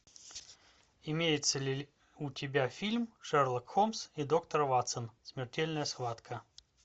имеется ли у тебя фильм шерлок холмс и доктор ватсон смертельная схватка